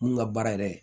Mun ka baara yɛrɛ ye